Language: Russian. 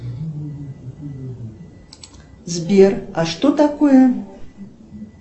сбер а что такое